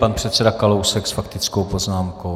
Pan předseda Kalousek s faktickou poznámkou.